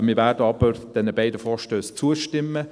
Wir werden aber diesen beiden Vorstössen zustimmen;